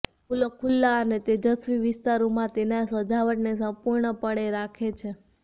ફૂલો ખુલ્લા અને તેજસ્વી વિસ્તારોમાં તેના સજાવટને સંપૂર્ણપણે રાખે છે